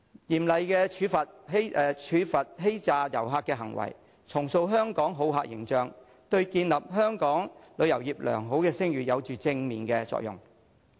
嚴厲處罰欺詐旅客的行為，重塑香港好客形象，對建立香港旅遊業的良好聲譽有正面作用。